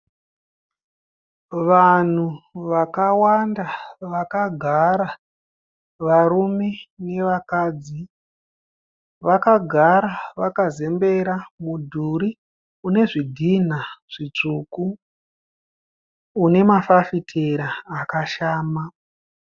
Vanhu vakawanda vakagara varume nevakadzi. Vakagara vakazembera mudhuri une zvidhinha zvitsvuku une mafafitera akashama.